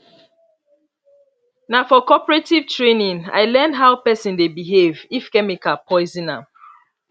na for cooperative training i learn how person dey behave if chemical poison am